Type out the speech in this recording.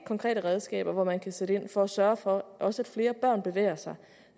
konkrete redskaber hvormed man kan sætte ind for at sørge for at også flere børn bevæger sig